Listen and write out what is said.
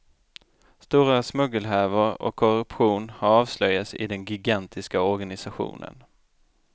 Stora smuggelhärvor och korruption har avslöjats i den gigantiska organisationen.